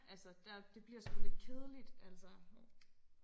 Altså der det bliver sgu lidt kedeligt altså hov